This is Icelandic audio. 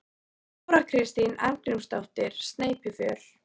Þóra Kristín Arngrímsdóttir: Sneypuför?